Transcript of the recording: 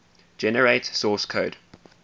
generate source code